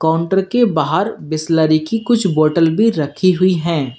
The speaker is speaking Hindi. काउंटर के बाहर बिसलेरी की कुछ बोतल भी रखी हुई हैं।